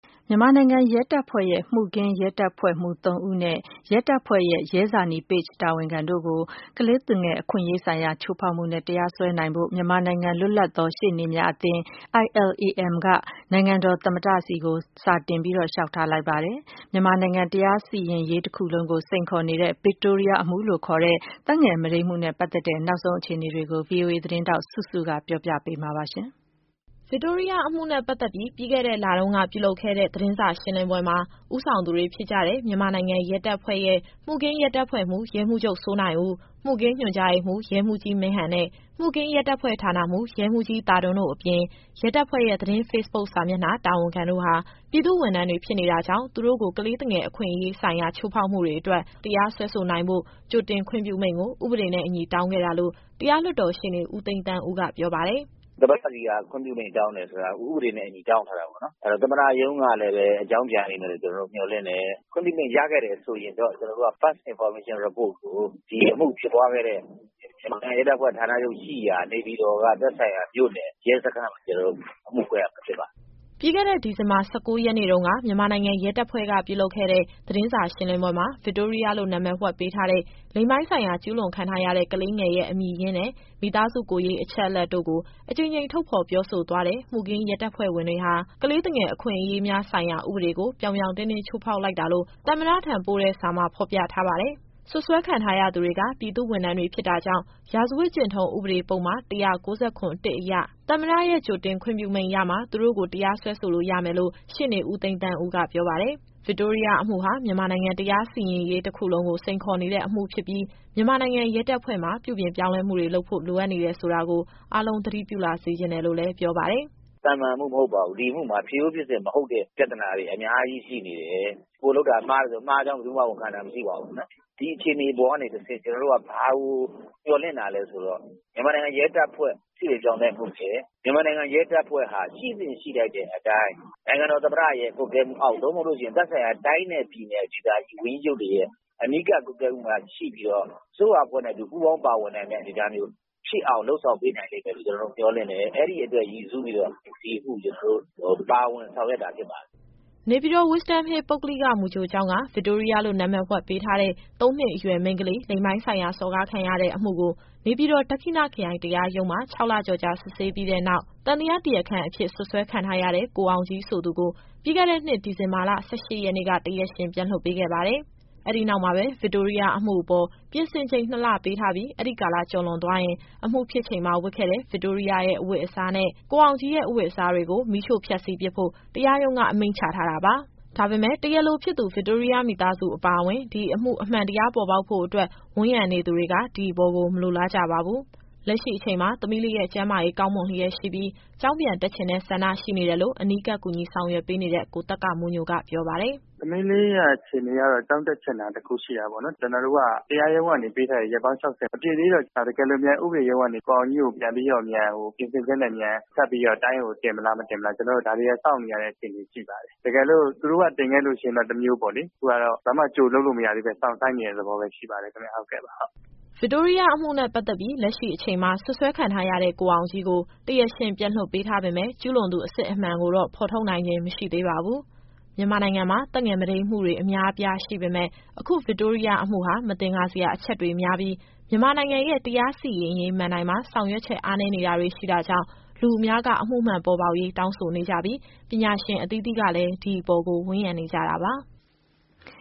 မြန်မာနိုင်ငံရဲတပ်ဖွဲ့ရဲ့ မှုခင်းရဲတပ်ဖွဲ့မှူးသုံးဦးနဲ့ ရဲတပ်ဖွဲ့ရဲ့ ရဲဇာနည် page တာဝန်ခံတို့ကို ကလေးသူငယ် အခွင့်ရေးဆိုင်ရာ ချိုးဖေါက်မှုနဲ့ တရားစွဲဆိုနိုင်ဖို့ မြန်မာနိုင်ငံ လွတ်လပ်သော ရှေ့နေများအသင်း က နိုင်ငံတော်သမ္မတထံ စာတင် လျှောက်ထားလိုက်ပါတယ်။ မြန်မာနိုင်ငံတရားစီရင်ရေး တခုလုံးကို စိန်ခေါ်နေတဲ့ Victoria အမှုလို့ ခေါ်တဲ့သက်ငယ် မုဒိမ်းမှုနဲ့ ပတ်သက်တဲ့ နောက်ဆုံး အခြေနေကို ဗွီအိုအေသတင်းထောက် စုစု က တင်ပြပေးမှာပါ။ ဗစ်တိုးရီးယားအမှုနဲ့ ပတ်သက်ပြီး ပြီးခဲ့တဲ့ လတုန်းက ပြုလုပ်ခဲ့တဲ့ သတင်းစာရှင်းလင်းပွဲမှာ ဦးဆောင်သူတွေဖြစ်ကြတဲ့ မြန်မာနိုင်ငံ ရဲတပ်ဖွဲ့ရဲ့ မှုခင်းရဲတပ်ဖွဲ့မှူး ရဲမှူးချုပ် စိုးနိုင်ဦး၊ မှုခင်းညွှန်ကြားရေးမှူး ရဲမှူးကြီးမင်းဟန်နဲ့ မှုခင်းရဲတပ်ဖွဲ့ဌာနမှူး ရဲမှူးကြီးသာဒွန်း အပြင် ရဲတပ်ဖွဲ့ရဲ့ သတင်း ဖေ့ဘုတ်စာမျက်နှာ တာဝန်ခံတို့ဟာ ပြည်သူ့ဝန်ထမ်း တွေ ဖြစ်နေတာကြောင့် သူတို့ကို ကလေးသူငယ် အခွင့်ရေး ဆိုင်ရာ ချိုးဖောက်မှုတွေ အတွက် တရားစွဲဆိုနိုင်ဖို့ ကြိုတင် ခွင့်ပြုမိန်ကို ဥပဒေနဲ့အညီ့တောင်းခဲ့တာလို့ တရားလွှတ်တော်ရှေ့နေ ဦးသိန်းသန်းဦးက ပြောပါတယ်။ “သမ္မတဆီက ခွင့်ပြုမိန့်တောင်းတယ်ဆိုတာ ဥပဒေနဲ့အညီ တောင်းထားတာပေါ့နော်။ အဲတော့ သမ္မတရုံးကလည်းပဲ အကြောင်းပြန်လိမ့်မယ်လို့ ကျတော်တို့မျှော်လင့်တယ်။ ခွင့်ပြုမိန့် ရခဲ့တယ်ဆိုရင်တော့ ကျနော်တို့က First Information Report ကို ဒီအမှုဖြစ်ပွားခဲ့တဲ့ မြန်မာနိုင်ငံရဲတပ်ဖွဲ့ ဌာနချုပ်ရှိရာ နေပြည်တော်က သက်ဆိုင်ရာမြို့နယ် ရဲစခန်းမှာ ကျနော်တို့အမှုဖွင့်ရမှာ ဖြစ်ပါတယ်။” ပြီးခဲ့တဲ့နှစ် ဒီဇင်ဘာ ၁၉ရက်နေ့တုန်းက မြန်မာနိုင်ငံရဲတပ်ဖွဲ့ကပြုလုပ်ခဲ့တဲ့ သတင်းစာရှင်းလင်းပွဲမှာ ဗစ်တိုးရီးယားလို့ နာမည်ဝှက်ပေးထားတဲ့ လိင်ပိုင်းဆိုင်ရာကျူးလွန်ခံထားရတဲ့ ကလေးငယ်ရဲ့အမည်ရင်းနဲ့ မိသားစုကိုယ်ရေးအချက်အလက်တို့ကို အကြိမ်ကြိမ်ထုတ်ဖော် ပြောဆိုသွားတဲ့ မှုခင်းရဲတပ်ဖွဲ့ဝင်တွေဟာ ကလေးသူငယ်အခွင့်အရေးများဆိုင်ရာ ဥပဒေကို ပြောင်ပြောင်တင်းတင်း ချိုးဖောက်လိုက်တာလို့ သမ္မတထံပို့တဲ့စာမှာ ဖော်ပြထားပါတယ်။ စွပ်စွဲခံထားရသူတွေက ပြည်သူ့ဝန်ထမ်းတွေ ဖြစ်တာကြောင့် ရာဇဝတ်ကျင့်ထုံးဥပဒေ ပုဒ်မ ၁၉၇ အရ သမ္မတရဲ့ကြိုတင်ခွင့်ပြုမိန့်ရမှ သူတို့ကိုတရားစွဲလို့ရမယ်လို့ ရှေ့နေဦးသိန်းသန်းဦးကပြောပါတယ်။ ဗစ်တိုးရီးယားအမှုဟာ မြန်မာနိုင်ငံတရားစီရင်ရေး တခုလုံးကို စိန်ခေါ်နေတဲ့အမှု ဖြစ်ပြီး မြန်မာနိုင်ငံ ရဲတပ်ဖွဲ့ မှာ ပြုပြင်ပြောင်းလဲမှုတွေ လုပ်ဖို့ လိုအပ်နေတယ် ဆိုတာကို အားလုံး သတိပြု လာစေချင်တယ် လို့လည်း ပြောပါတယ်။ “သာမန်အမှုမဟုတ်ပါဘူး။ ဒီအမှုမှာဖြစ်ရိုးဖြစ်စဉ် မဟုတ်တဲ့ ပြဿနာတွေ အများကြီးရှိနေတယ်။ ကိုယ်လုပ်တာမှားတယ်ဆို မှားကြောင်း ဘယ်သူမှ ဝန်ခံတာမရှိဘူး။ ဒီအခြေအနေကနေတဆင့် ကျနော်တို့က ဘာကိုမျှော်လင့်တာလည်းဆိုတော့ မြန်မာနိုင်ငံရဲတပ်ဖွဲ့ ပြုပြင်ပြောင်းလဲမှုနဲ့ မြန်မာနိုင်ငံရဲတပ်ဖွဲ့ဟာ ရှိသင့်ရှိထိုက်တဲ့အတိုင်း နိုင်ငံတော်သမ္မတရဲ့ ကွပ်ကဲမှုအောက် သို့မဟုတ်လို့ရှိရင် သက်ဆိုင်ရာ တိုင်းနဲ့ပြည်နယ်ဒေသကြီး ဝန်ကြီးချုပ်တွေရဲ့ အနီးကပ်ကွပ်ကဲမှုမှာ ရှိပြီးတော့ အစိုးရအဖွဲ့နဲ့အတူ ပူးပေါင်းပါဝင်နိုင်တဲ့ အနေအထားမျိုး ဖြစ်အောင် လုပ်ဆောင်ပေးနိုင်လိမ့်မယ်လို့ မျှော်လင့်တယ်။ အဲဒီအတွက်ရည်စူးပြီးတော့ ဒီအမှုကို ကျနော်တို့ပါဝင် ဆောင်ရွက်တာဖြစ်ပါတယ်။” နေပြည်တော် Wisdom Hill ပုဂ္ဂလိက မူကြိုကျောင်းက ဗစ်တိုးရီးယားလို့ နာမည်ဝှက်ပေးထားတဲ့ သုံးနှစ်အရွယ်မိန်းကလေး လိင်ပိုင်းဆိုင်ရာစော်ကားခံရတဲ့အမှုကို နေပြည်တော် ဒက္ခိဏခရိုင် တရားရုံးမှာ ခြောက်လကျော်ကြာ စစ်ဆေးပြီးတဲ့နောက် သံသယတရားအဖြစ် စွပ်စွဲခံထားရတဲ့ ကိုအောင်ကြီးဆိုသူကို ပြီးခဲ့တဲ့နှစ် ဒီဇင်ဘာလ ၁၈ရက်နေ့က တရားရှင်ပြန်လွှတ်ပေးခဲ့ပါတယ်။ အဲဒီနောက်မှာပဲ ဗစ်တိုးရီးယားအမှုအပေါ် ပြင်ဆင်ချိန် ၂လပေးထားပြီး အဲဒီကာလကျော်သွားရင် အမှုဖြစ်ချိန်မှာ ဝတ်ခဲ့တဲ့ ဗစ်တိုးရီးယားရဲ့အဝတ်အစားနဲ့ ကိုအောင်ကြီးရဲ့အဝတ်အစားတွေကို မီးရှို့ဖျက်စီးပစ်ဖို့ တရားရုံးက အမိန့်ချထားတာပါ။ ဒါပေမယ့် တရားလိုဖြစ်သူ ဗစ်တိုးရီးယားမိသားစုအပါအဝင် ဒီအမှုအမှန်တရား ပေါ်ပေါက်ဖို့အတွက် ဝန်းရံနေသူတွေက ဒီအပေါ်ကို မလိုလားကြပါဘူး။ လက်ရှိအချိန်မှာ သမီးလေးရဲ့ ကျန်းမာရေးကောင်းမွန်လျက်ရှိပြီး ကျောင်းပြန်တက်ချင်တဲ့ ဆန္ဒရှိနေတယ်လို့ အနီးကပ် ကူညီဆောင်ရွက်ပေးနေတဲ့ ကိုသက္ကမိုးညိုက ပြောပါတယ်။ “သမီးလေးရဲ့အခြေအနေကတော့ ကျောင်းတက်ချင်တာ တခုရှိတာပေါ့နော်။ ကျနော်တို့က တရားရုံးကနေပေးထားတဲ့ ရက်ပေါင်း ၆၀ မပြည့်သေးတော့ တကယ်လို့များ ဥပဒေရုံးကနေပြီးတော့ ကိုအောင်ကြီးကို ပြန်ပြီးတော့ ပြင်ဆင်ချက်နဲ့ဆက်ပြီးတော့ တိုင်းကိုတင်မလား၊ မတင်ဘူးလား။ ဒါတွေကို စောင့်နေရတဲ့အခြေအနေ ရှိပါတယ်။ တကယ်လို့ သူတို့ကတင်ခဲ့လို့ရှိရင်တော့ တမျိုးပေါ့လေ။ ခုကတော့ ဘာမှကြိုလုပ်လို့ မရသေးဘဲ စောင့်ဆိုင်းနေရတဲ့သဘောပဲ ရှိပါသေးတယ်ခင်ဗျ။” ဗစ်တိုးရီးယားအမှုနဲ့ ပတ်သက်ပြီး လက်ရှိအချိန်မှာ စွပ်စွဲခံထားရတဲ့ ကိုအောင်ကြီးကို တရားရှင်ပြန်လွှတ်ပေးထားပေမယ့် ကျူးလွန်သူအစစ်အမှန်ကိုတော့ ဖော်ထုတ်နိုင်ခြင်း မရှိသေးပါဘူး။ မြန်မာနိုင်ငံမှာ သက်ငယ်မုဒိမ်းမှုတွေ အများအပြားရှိပေမယ့် အခုဗစ်တိုးရီးယားအမှုဟာ မသင်္ကာစရာအချက်တွေများပြီး မြန်မာနိုင်ငံရဲ့ တရားစီရင်ရေးမဏ္ဍိုင်မှာ ဆောင်ရွက်ချက် အားနည်းနေတာတွေ ရှိတာကြောင့် လူအများက အမှုမှန်ပေါ်ပေါက်ရေး တောင်းဆိုနေကြပြီး ပညာရှင်အသီးသီးကလည်း ဒီအပေါ်ကို ဝန်းရံနေကြတာပါ။